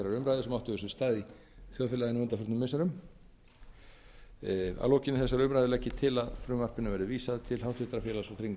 umræðu sem átt hefur sér stað í þjóðfélaginu á undanförnum missirum að lokinni þessari umræðu legg ég til að frumvarpinu veðri vísað til háttvirtrar félags